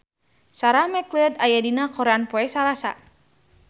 Sarah McLeod aya dina koran poe Salasa